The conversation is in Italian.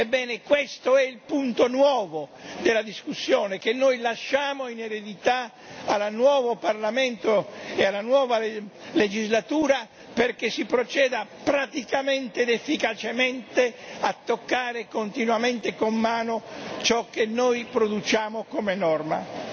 Ebbene questo è il punto nuovo della discussione, che noi lasciamo in eredità al nuovo Parlamento e alla nuova legislatura, perché si proceda praticamente ed efficacemente a toccare continuamente con mano ciò che noi produciamo come norma.